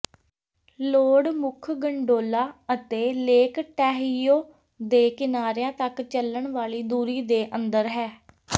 ਲੌਡ ਮੁੱਖ ਗੰਡੋਲਾ ਅਤੇ lake Tahoe ਦੇ ਕਿਨਾਰਿਆਂ ਤੱਕ ਚੱਲਣ ਵਾਲੀ ਦੂਰੀ ਦੇ ਅੰਦਰ ਹੈ